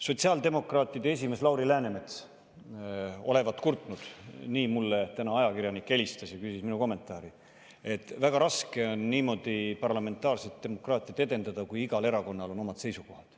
Sotsiaaldemokraatide esimees Lauri Läänemets olevat kurtnud – nii mulle täna ajakirjanik helistades ja küsis minu kommentaari –, et väga raske on parlamentaarset demokraatiat edendada, kui igal erakonnal on omad seisukohad.